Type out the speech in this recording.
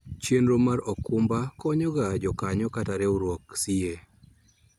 Chenro mar okumba konyo ga jokanyo kata riwruok siye